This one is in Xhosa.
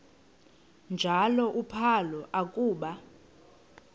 njalo uphalo akuba